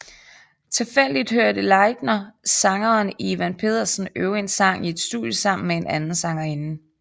Tilfældigt hørte Leitner sangeren Ivan Pedersen øve en sang i et studie sammen med en anden sangerinde